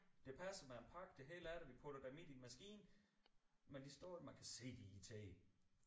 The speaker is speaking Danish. Det passer med en pakke det hele af det vi putter dem i din maskine men de står jo man kan se de er irriterede